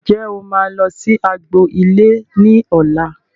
Ǹjẹ́ o máa lọ sí agbo ilé ní ọ̀la